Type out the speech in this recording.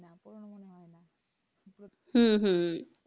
হুম হুম